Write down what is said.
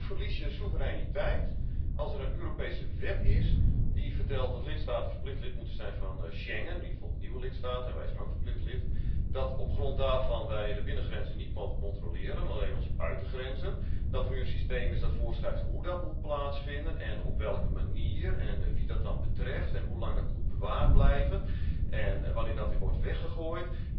Hoe verlies je soevereiniteit als er een Europese wet is die vertelt dat lidstaten verplicht lid moeten zijn van Schengen in ieder geval de nieuwe lidstaten, en wij zijn ook verplicht lid die vertelt dat wij op grond daarvan de binnengrenzen niet mogen controleren, alleen onze buitengrenzen, dat er nu een systeem is dat voorschrijft hoe dat moet plaatsvinden en op welke manier, en wie dat dan betreft, en hoe lang dat moet bewaard blijven, en wanneer dat het wordt weggegooid?